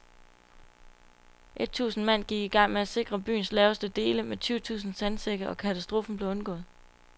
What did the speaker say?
Et tusind mand gik i gang med at sikre byens laveste dele med tyve tusind sandsække, og katastrofen blev undgået.